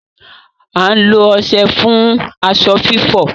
À n lo ọṣẹ fun aṣọ fifọ